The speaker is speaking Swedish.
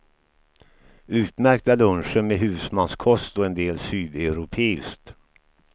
Utmärkta luncher med husmanskost och en del sydeuropeiskt.